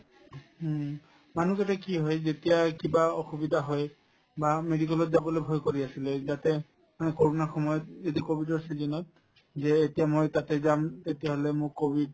হুম, মানুহকেইটাই কি হয় যেতিয়াই কিবা অসুবিধা হয় বা medical ত যাবলৈ ভয় কৰি আছিলে যাতে অ কৰোণাৰ সময়ত ও যেতিয়া কভিডৰ season ত যে এতিয়া মই তাতে যাম তেতিয়াহলে মোক কভিড